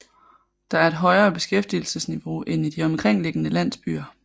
Der er et højere beskæftigelsesniveau end i de omkringliggende landsbyer